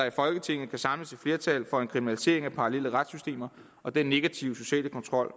i folketinget kan samles et flertal for en kriminalisering af parallelle retssystemer og den negative sociale kontrol